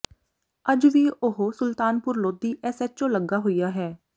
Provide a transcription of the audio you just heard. ਅੱਜ ਵੀ ਉਹ ਸੁਲਤਾਨਪੁਰ ਲੋਧੀ ਐਸਐਚਓ ਲੱਗਾ ਹੋਇਆ ਹੈ